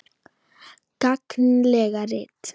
Gagnleg rit